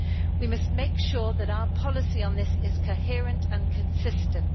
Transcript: We must make sure that our policy on this is coherent and consistent.